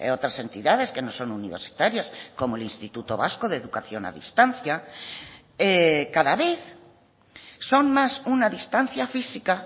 otras entidades que no son universitarias como el instituto vasco de educación a distancia cada vez son más una distancia física